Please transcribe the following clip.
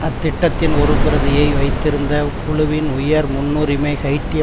அத்திட்டத்தின் ஒரு பிரதியை வைத்திருந்த குழுவின் உயர் முன்னுரிமை ஹைய்ட்டிய